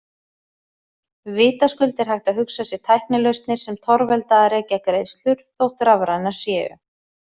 Vitaskuld er hægt að hugsa sér tæknilausnir sem torvelda að rekja greiðslur, þótt rafrænar séu.